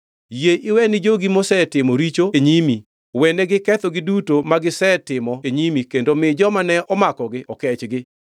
Yie iwe ni jogi mosetimo richo e nyimi, wenegi kethogi duto magisetimo e nyimi kendo mi joma ne omakogi okechgi.